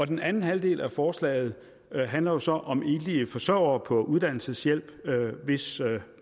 den anden halvdel af forslaget handler så om enlige forsørgere på uddannelseshjælp hvis